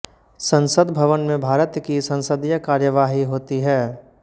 संसद भवन में भारत की संसदीय कार्यवाही होती है